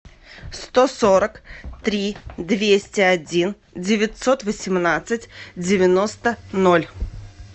сто сорок три двести один девятьсот восемнадцать девяносто ноль